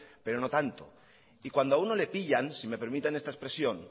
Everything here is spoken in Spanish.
pero no tanto y cuando a uno le pillan si me permiten esta expresión